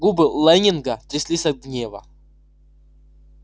губы лэннинга тряслись от гнева